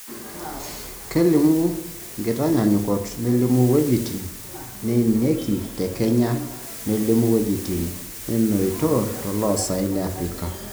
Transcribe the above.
Kelimu nkitaanyanyukot nelimu wuejiti neinieki te Kenya nelimu wuejitin neetoito to loosaen le Africa.